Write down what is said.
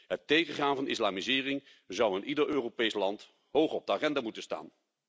Het tegengaan van islamisering zou in ieder Europees land hoog op de agenda moeten staan.